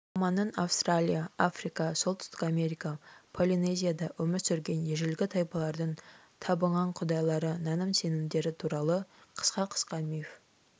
романның австралия африка солтүстік америка полинезияда өмір сүрген ежелгі тайпалардың табынған құдайлары наным-сенімдері туралы қысқа-қысқа миф